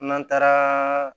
N'an taara